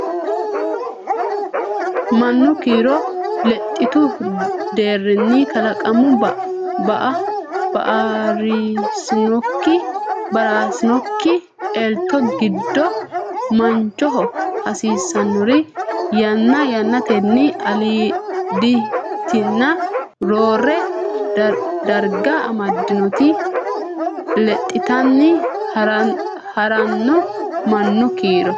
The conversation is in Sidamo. Mannu kiiro lexxitu deerrinni Kalaqamu ba raasinonke elto giddo mannaho hasiisannori yanna yannatenni aliiditinna roore darga amaddannoti lexxanni ha ranno Mannu kiiro.